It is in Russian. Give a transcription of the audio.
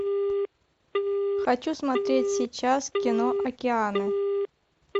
хочу смотреть сейчас кино океаны